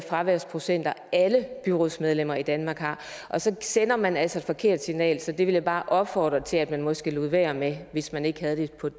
fraværsprocenter alle byrådsmedlemmer i danmark har så sender man altså et forkert signal så det vil jeg bare opfordre til at man måske lod være med hvis man ikke